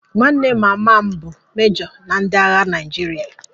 Nwanne mama m bụ mejo na ndị agha Naịjirịa